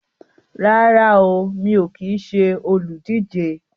Rárá o, mi ò kín ṣe olùdíje